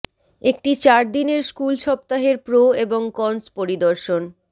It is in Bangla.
একটি চার দিনের স্কুল সপ্তাহের প্রো এবং কনস পরিদর্শন